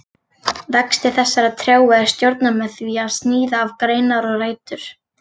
Vexti þessara trjáa er stjórnað með því að sníða af greinar og rætur.